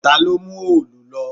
Ta ló mú òòlù lọ?